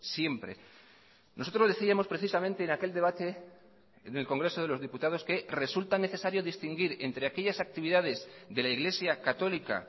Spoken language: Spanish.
siempre nosotros decíamos precisamente en aquel debate en el congreso de los diputados que resulta necesario distinguir entre aquellas actividades de la iglesia católica